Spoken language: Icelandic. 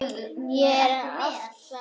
Er það ekki oft þannig?